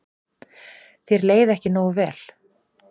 Þér leið ekki nógu vel.